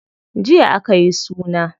Jiya akayi suna.